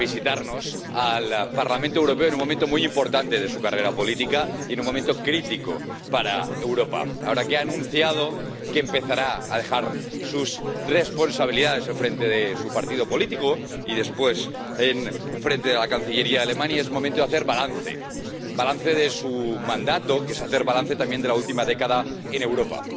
Señor presidente, señora canciller Merkel, usted viene aquí, a visitarnos al Parlamento Europeo, en un momento muy importante de su carrera política y en un momento crítico para Europa. Ahora que ha anunciado que empezará a dejar sus responsabilidades al frente de su partido político y, después, al frente de la cancillería de Alemania, es momento de hacer balance, balance de su mandato, que es hacer balance también de la última década en Europa.